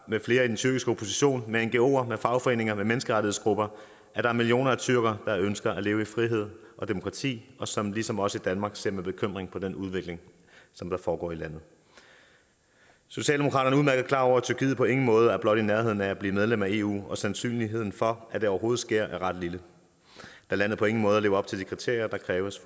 med flere i den tyrkiske opposition med ngoer med fagforeninger eller med menneskerettighedsgrupper at der er millioner af tyrkere der ønsker at leve i frihed og demokrati og som ligesom os i danmark ser med bekymring på den udvikling som der foregår i landet socialdemokratiet er udmærket klar over at tyrkiet på ingen måde er blot i nærheden af at blive medlem af eu og sandsynligheden for at det overhovedet sker er ret lille da landet på ingen måde lever op til de kriterier der kræves